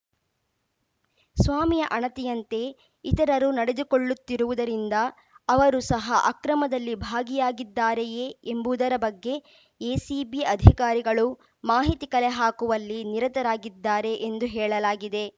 ಸ್ವಾಮಿಯ ಅಣತಿಯಂತೆ ಇತರರು ನಡೆದುಕೊಳ್ಳುತ್ತಿರುವುದರಿಂದ ಅವರು ಸಹ ಅಕ್ರಮದಲ್ಲಿ ಭಾಗಿಯಾಗಿದ್ದಾರೆಯೇ ಎಂಬುದರ ಬಗ್ಗೆ ಎಸಿಬಿ ಅಧಿಕಾರಿಗಳು ಮಾಹಿತಿ ಕಲೆ ಹಾಕುವಲ್ಲಿ ನಿರತರಾಗಿದ್ದಾರೆ ಎಂದು ಹೇಳಲಾಗಿದೆ